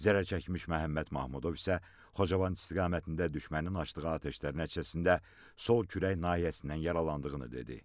Zərərçəkmiş Məhəmməd Mahmudov isə Xocavənd istiqamətində düşmənin açdığı atəşlər nəticəsində sol kürək nahiyəsindən yaralandığını dedi.